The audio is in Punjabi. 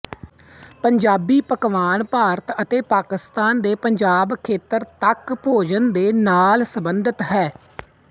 ਪੰਜਾਬੀ ਪਕਵਾਨ ਭਾਰਤ ਅਤੇ ਪਾਕਿਸਤਾਨ ਦੇ ਪੰਜਾਬ ਖੇਤਰ ਤੱਕ ਭੋਜਨ ਦੇ ਨਾਲ ਸੰਬੰਧਿਤ ਹੈ